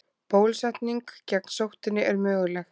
Bólusetning gegn sóttinni er möguleg.